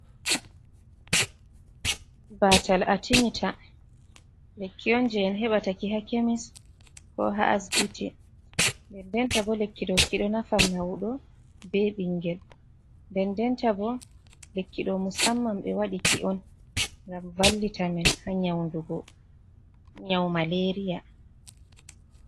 Batal atimita lekki on je en heɓata ki ha chemist, ko ha asibiti, nden denta bo lekki ɗo kiɗo nafan maudo be ɓingel, nden denta bo lekkido musamman be waɗi ki'on ngam vallita men ha nyawdu go nyawu maleri ya